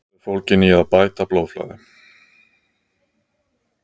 Meðferð er fólgin í að bæta blóðflæði.